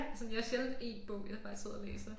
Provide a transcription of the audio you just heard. Sådan jeg har sjældent 1 bog jeg bare sidder og læser